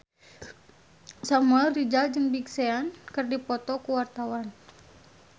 Samuel Rizal jeung Big Sean keur dipoto ku wartawan